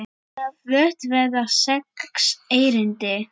Flutt verða sex erindi.